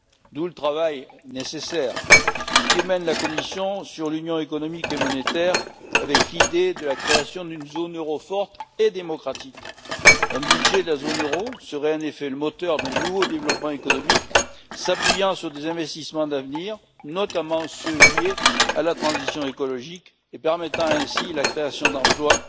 D'où le travail nécessaire que mène la Commission sur l'Union économique et monétaire avec l'idée de la création d'une zone euro forte et démocratique. Un budget de la zone euro serait en effet le moteur d'un nouveau développement économique s'appuyant sur des investissements d'avenir, notamment ceux liés à la transition écologique, et permettant ainsi la création d'emplois